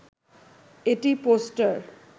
এটি পোস্টার